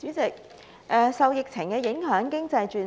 代理主席，受疫情影響，經濟轉差。